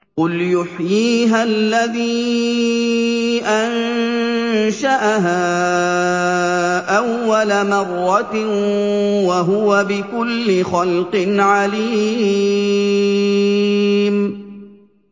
قُلْ يُحْيِيهَا الَّذِي أَنشَأَهَا أَوَّلَ مَرَّةٍ ۖ وَهُوَ بِكُلِّ خَلْقٍ عَلِيمٌ